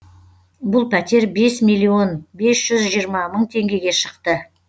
бұл пәтер бес миллион бес жүз жиырма мың теңгеге шықты